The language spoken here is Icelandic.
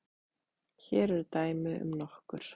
Hér eru dæmi um nokkur